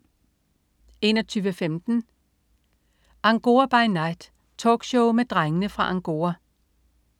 21.15 Angora by Night. Talkshow med Drengene fra Angora